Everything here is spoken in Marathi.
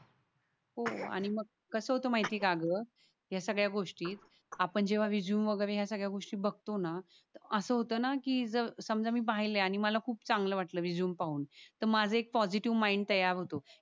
हो आणि कस होत माहिती ये का ग या सगळ्या गोष्टीत आपण जेवा रेझूमे वगिरे या सगळ्या गोष्टी जेवा बगतो ना अस होत ना कि जर समझा मी पाहिल ये आणि मला खूप चांगल वाटल रेझूमे पाहून तर माझ एक पॉसिटीव्ह तयार होतो.